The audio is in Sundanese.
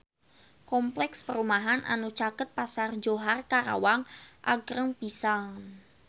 Kompleks perumahan anu caket Pasar Johar Karawang agreng pisan